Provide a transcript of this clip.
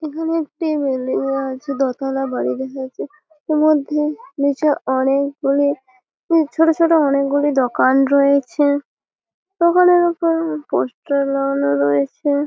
এখানে একটি বিল্ডিং দেখা যাচ্ছে দোতলা বাড়ি দেখা যাচ্ছে এর মধ্যে নিচে অনেকগুলি ছোট ছোট অনেকগুলি দকান রয়েছে দোকানের উপর পোস্টার লাগানো রয়েছে।